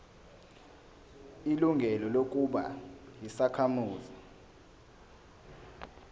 ilungelo lokuba yisakhamuzi